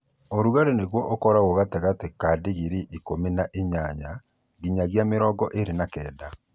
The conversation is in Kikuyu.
ũrũgarĩ nagũo ũkorũo gatagatĩ ka dĩgrĩĩ ĩkũmĩ na ĩnyanya ngĩnyagĩa mĩrongo ĩĩrĩ na kenda